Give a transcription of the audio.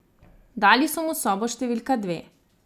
Dali so mu sobo številka dve.